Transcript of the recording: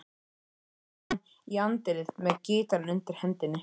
Stormar fram í anddyrið með gítarinn undir hendinni.